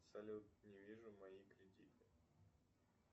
салют не вижу мои кредиты